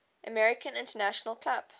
american international club